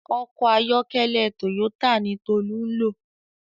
Òkò àyòkèlè tóyótá ni Tolu n ló